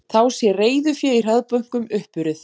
Þá sé reiðufé í hraðbönkum uppurið